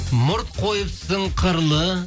мұрт қойыпсың қырлы